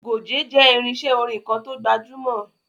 Goge jẹ́ irinṣé orin kan to gbajúmọ̀.